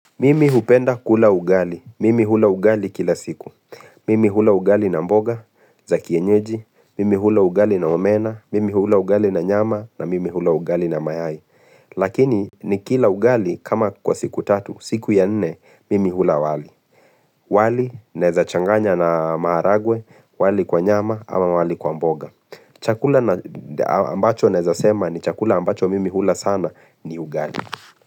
Mimi hupenda kula ugali. Mimi hula ugali kila siku. Mimi hula ugali na mboga za kienyeji. Mimi hula ugali na omena. Mimi hula ugali na nyama na mimi hula ugali na mayai. Lakini nikila ugali kama kwa siku tatu. Siku ya nne mimi hula wali. Wali naeza changanya na maharagwe. Wali kwa nyama ama wali kwa mboga. Chakula ambacho naeza sema ni chakula ambacho mimi hula sana ni ugali.